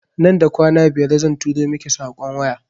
Nan da kwana biyar zan turo miki saƙon waya